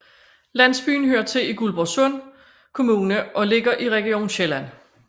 Landsbyen hører til Guldborgsund Kommune og ligger i Region Sjælland